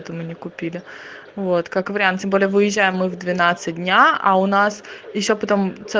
мне купили вот как вариант тем более выезжаем мы в двенадцать дня а у нас ещё потом